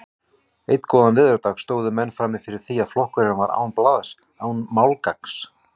Einn góðan veðurdag stóðu menn frammi fyrir því að flokkurinn var án blaðs, án málgagns.